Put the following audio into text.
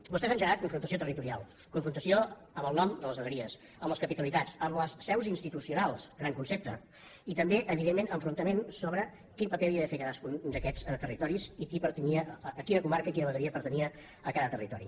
vostè ha engegat confrontació territorial confrontació amb el nom de les vegueries amb les capitalitats amb les seus institucionals gran concepte i també evidentment enfrontaments sobre quin paper havia de fer cadascun d’aquests territoris i qui pertanyia a quina comarca i quina vegueria pertanyia a cada territori